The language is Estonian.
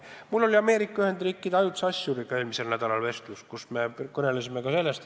Mul oli Ameerika Ühendriikide ajutise asjuriga eelmisel nädalal vestlus ja me kõnelesime ka sellest.